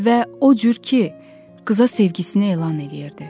Və o cür ki, qıza sevgisini elan eləyirdi.